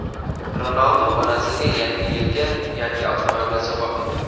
Ronaldu onasiga Yangi yilga yangi avtomobil sovg‘a qildi.